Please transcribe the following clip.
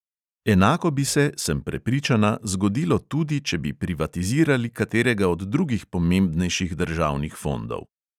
Enako bi se, sem prepričana, zgodilo tudi, če bi privatizirali katerega od drugih pomembnejših državnih fondov.